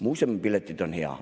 Muuseumipiletid on hea.